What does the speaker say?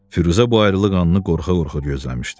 Firuzə bu ayrılıq anını qorxa-qorxa gözləmişdi.